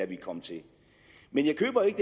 vi kom til men jeg køber ikke